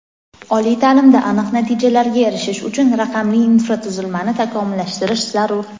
Oliy taʼlimda aniq natijalarga erishish uchun "raqamli" infratuzilmani takomillashtirish zarur.